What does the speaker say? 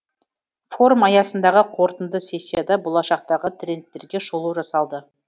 форум аясындағы қорытынды сессияда болашақтағы трендтерге шолу жасалды